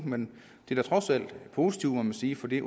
men det er trods alt positivt må man sige for det